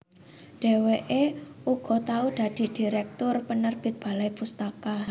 Dhèwèké uga tau dadi direktur penerbit Balai Pustaka